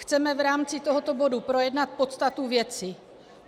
Chceme v rámci tohoto bodu projednat podstatu věci.